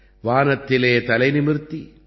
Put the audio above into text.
வானத்திலே தலைநிமிர்த்தி